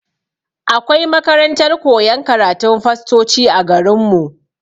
Akwai makarantar koyan karatun fastoci a garin mu.